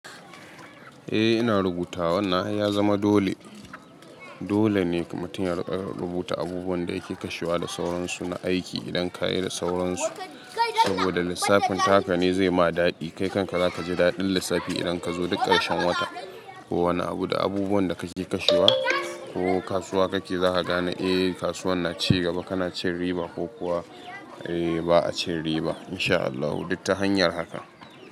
Eh ina rubutawa wannana ai ya zama dole. Dole ne mutum ya rika rubuta abubuwan da ya ke kashewa da sauransu na aiki idan ka yi da sauransu. Saboda lissafin takane zai ma daɗi. Kai kanka za ka ji daɗin lissafi idan ka zo duk ƙarshen wata. Ko wani abu da abubuwan da kake kashewa ko kasuwa kake za ka gane eh kasuwan na ci gaba kana cin riba ko kuwa eh ba a cin riba in sha Allah duk ta hanyar haka.